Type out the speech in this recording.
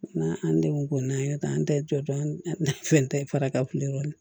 N'an an denw ko n'an y'o ta an ta ye jɔ an fɛn tɛ faraka kulɔn kan